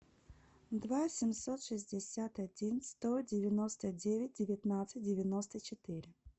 два семьсот шестьдесят один сто девяносто девять девятнадцать девяносто четыре